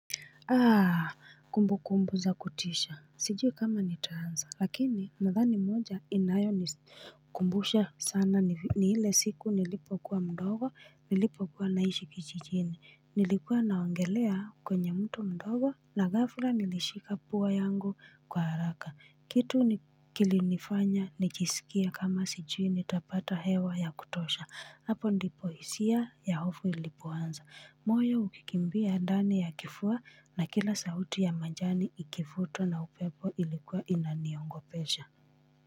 Aa kumbukumbu za kutisha sijui kama nitaanza lakini nadhani moja inayoni kumbusha sana ni ile siku nilipokuwa mdogo nilipokuwa naishi kijijini nilikuwa naogelea kwenye mto mdogo na ghafla nilishika pua yangu kwa haraka kitu kilinifanya nijisikie kama sijui nitapata hewa ya kutosha hapo ndipo hisia ya hofu ilipoanza moyo ukikimbia ndani ya kifua na kila sauti ya manjani ikivutwa na upepo ilikuwa inaniogopesha.